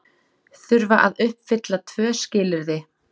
Þurfa að uppfylla tvö skilyrði